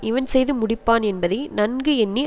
இவன் செய்து முடிப்பான் என்பதை நன்கு எண்ணி